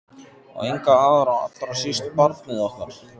Og enga aðra- allra síst barnið okkar.